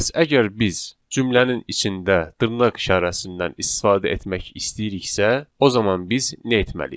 Bəs əgər biz cümlənin içində dırnaq işarəsindən istifadə etmək istəyiriksə, o zaman biz nə etməliyik?